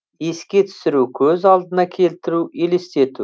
еске түсіру көз алдына келтіру елестету